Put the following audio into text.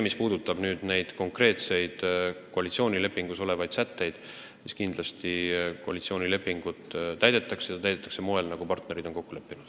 Mis puudutab konkreetseid koalitsioonilepingus olevaid sätteid, siis kindlasti koalitsioonilepingut täidetakse ja täidetakse sel moel, nagu partnerid on kokku leppinud.